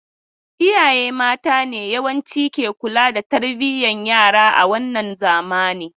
Iyaye mata ne yawanci ke kula da tarbiyan yara a wannan zamani.